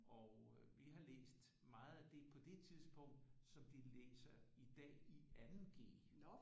Og øh vi har læst meget af det på det tidspunkt som de læser i dag i andet G